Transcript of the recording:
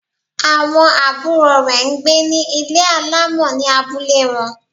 Àwọn àbúrò rẹ̀ n gbé ní Ilé alámọ̀ ní abúlé wọn